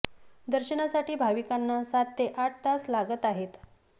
दर्शनासाठी भाविकांना सात ते आठ तास लागत आहेत